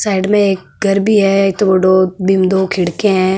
साइड में एक घर भी है ईतो बडो बीम दो खिडकिया है।